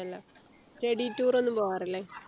വല്ലം Study tour ഒന്നും പോവാറില്ലെ